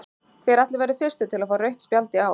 Hver ætli verði fyrstur til að fá rautt spjald í ár?